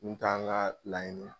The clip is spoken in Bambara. Mun t'an ka laɲini